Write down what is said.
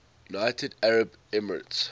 united arab emirates